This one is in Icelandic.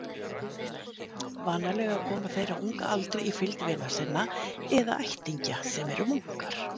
Vanalega koma þeir á unga aldri í fylgd vina sinna eða ættingja sem eru munkar.